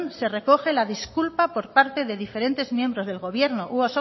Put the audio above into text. se recoge la disculpa por parte de diferentes miembros del gobierno u